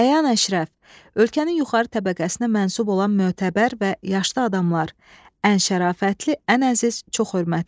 Əyan-əşrəf, ölkənin yuxarı təbəqəsinə mənsub olan mötəbər və yaşlı adamlar, ən şərafətli, ən əziz, çox hörmətli.